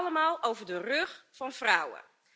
Dat allemaal over de rug van vrouwen.